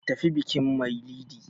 Ka tafi bikin mailidi!